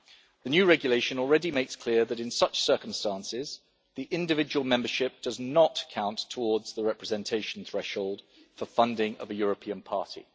The new regulation already makes clear that in such circumstances, the individual membership does not count towards the representation threshold for funding of a European party.